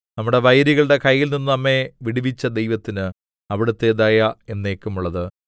നമ്മുടെ വൈരികളുടെ കൈയിൽനിന്ന് നമ്മെ വിടുവിച്ച ദൈവത്തിന് അവിടുത്തെ ദയ എന്നേക്കുമുള്ളത്